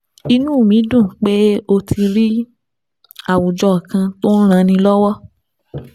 Inú mi dùn pé o ti rí àwùjọ kan tó ń ranni lọ́wọ́